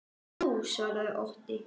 Jú, svaraði Otti.